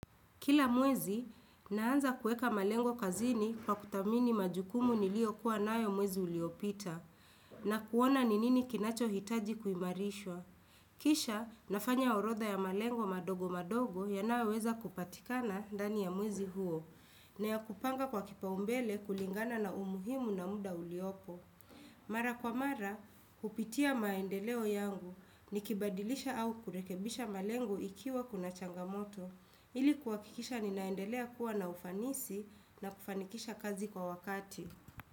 Kila mwezi, naanza kuweka malengo kazini kwa kuthamini majukumu niliyokuwa nayo mwezi uliopita, na kuona ni nini kinachohitaji kuimarishwa. Kisha, nafanya orodha ya malengo madogo madogo yanayoweza kupatikana ndani ya mwezi huo, na ya kupanga kwa kipaumbele kulingana na umuhimu na muda uliopo. Mara kwa mara, hupitia maendeleo yangu, nikibadilisha au kurekebisha malengo ikiwa kuna changamoto, ili kuhakikisha ninaendelea kuwa na ufanisi na kufanikisha kazi kwa wakati.